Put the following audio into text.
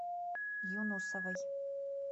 юнусовой